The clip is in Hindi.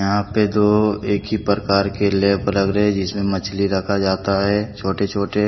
यहां पे दो एक ही प्रकार के लैब लग रहे हैंजिसमें मछली रखा जाता है छोटे छोटे--